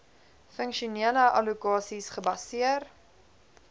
funksionele allokasies gebaseer